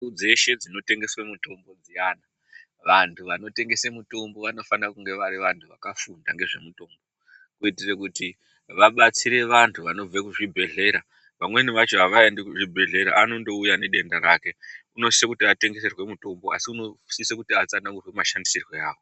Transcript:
Dzeshe dzinotengeswe mitumbu dziyani, vantu vanotengese mitombo vanofanira kunge vari vantu vakafunda ngezvemitombo kuitire kuti vabatsire vantu vanobve kuzvibhedhlera. Vamweni vacho havaendi kuzvibhedhlera anondouya nedenda rake unosise kuti atengeserwe mutombo asi unosise kuti atsanangurirwe mashandisirwe awo.